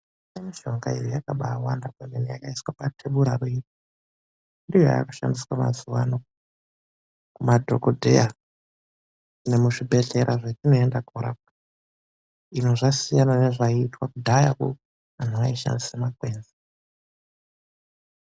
Mishonga iyi yakabaawanda kwemene yakaiswa patebura iyi. Ndiyo yaakushandiswa mazuvano kumadhokodheya nemuzvibhedhlera zvetinoenda kunorapwa. Zvasiyana nezvaiitwa kudhayakwo, antu aishandisa makwenzi.